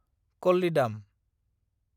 कल्लिदाम